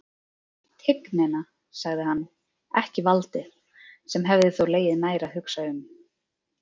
Tignina, sagði hann, ekki valdið, sem hefði þó legið nær að hugsa um.